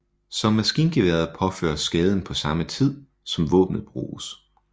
Som maskingeværet påføres skaden på samme tid som våbenet bruges